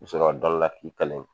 Muso dɔ don dɔ la k'i kali